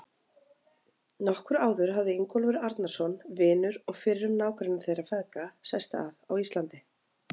Nokkru áður hafði Ingólfur Arnarson, vinur og fyrrum nágranni þeirra feðga, sest að á Íslandi.